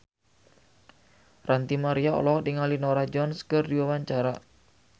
Ranty Maria olohok ningali Norah Jones keur diwawancara